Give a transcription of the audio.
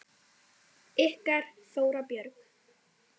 Ykkar Þóra Björk.